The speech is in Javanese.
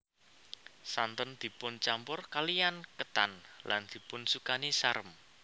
Santen dipun campur kaliyan ketan lan dipun sukani sarem